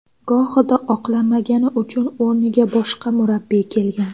Gohida oqlamagani uchun o‘rniga boshqa murabbiy kelgan”.